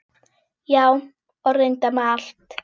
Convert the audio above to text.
Já, og reyndar með allt.